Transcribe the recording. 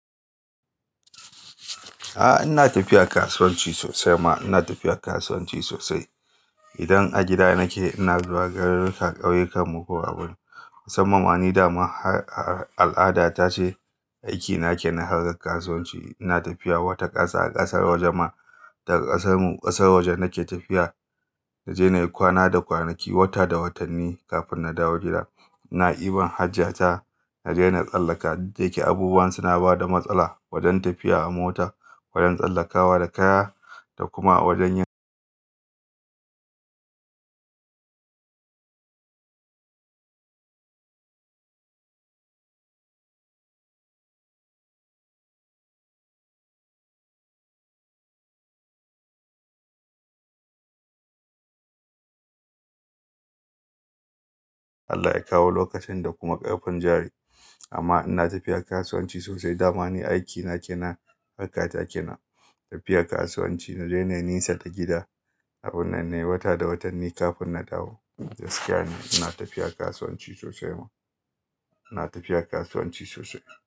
A'a ina tafiya kasuwanci sosai ma ina tafiya kasuwanci sosai. Idan a gida nake ina zuwa garuruka ƙauyukan mu ko abun. Musamman ma ni dama al'ada ta ce aiki na ke na harkar kasuwanci. Ina tafiya wata ƙasa a ƙasar waje ma daga ƙasar mu. Ƙasar waje nake tafiya na je na yi kwana da kwanaki, wata da watanni kafin na dawo gida. Ina ɗi ban hajiya ta na je na tsallaka duk da yake abubuwa suna bada matsala wajen tafiya a mota, wajen tsallakawa da kaya da kuma wajen yi Allah ya kawo lokacin da kuma ƙarfin jari amma ina tafiya kasuwanci sosai. Dams ni aiki na ke na harka ta kenan tafiya kasuwanci na je na nesa da gida a birane wata da watanni kafin na dawo gida. Gaskiya ina tafiya kasuwanci sosai ma ina tafiya kasuwanci sosai.